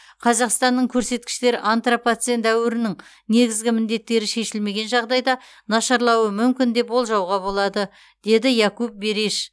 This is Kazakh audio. қазақстанның көрсеткіштері антропоцен дәуірінің негізгі міндеттері шешілмеген жағдайда нашарлауы мүмкін деп болжауға болады деді якуп бериш